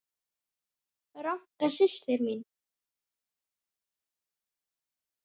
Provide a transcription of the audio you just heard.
Ranka systir mín.